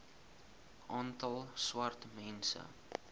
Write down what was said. aantal swart mense